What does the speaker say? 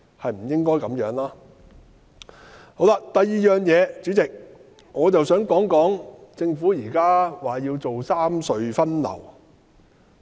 第二，代理主席，我想談談政府現在提出要三隧分流的問題。